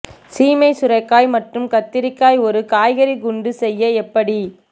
சீமை சுரைக்காய் மற்றும் கத்திரிக்காய் ஒரு காய்கறி குண்டு செய்ய எப்படி